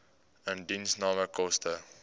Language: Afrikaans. indiensname koste